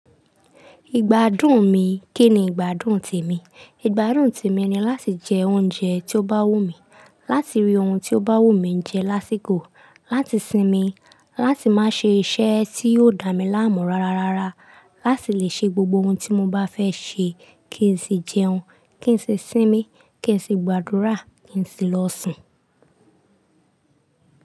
Ìgbádùn mi kíni ìgbádùn temi? Ìgbádùn temi ni láti jẹ oúnjẹ tí ó bá wùn mí, láti rí ohun tí ó bá wù mí jẹ lásìkò, láti sinmi, láti má ṣe iṣẹ́ tí yóò dá mi láàmú rárárára, láti le ṣe gbogbo ohun tí mo bá fẹ́ ṣe, kí n sì jẹun, kí n sì sinmi, kí n sì gbàdúrà, kí n sì lọ sùn.